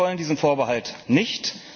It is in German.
Sie wollen diesen Vorbehalt nicht.